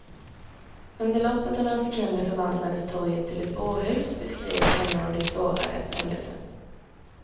Under loppet av några sekunder förvandlades torget till ett bårhus, beskrev en av de sårade händelsen.